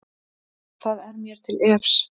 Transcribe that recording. Það er mér til efs.